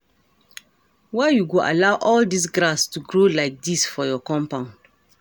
Why you go allow all dis grass to grow like dis for your compound?